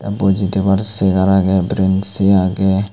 boji tebar segar agey berensi agey.